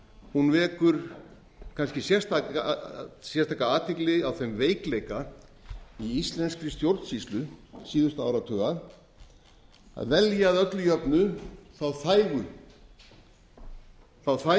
hún vekur kannski sérstaka athygli á þeim veikleika í íslenskri stjórnsýslu síðustu áratuga að velja að öllu jöfnu hina þægu hina